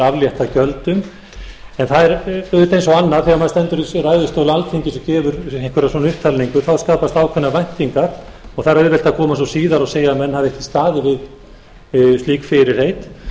aflétta gjöldum en það er auðvitað eins og annað þegar maður stendur uppi í ræðustól alþingis og gefur einhverja svona upptalningu þá skapast ákveðnar væntingar og það er auðvelt að koma svo síðar og segja að menn hafi ekki staðið við slík fyrirheit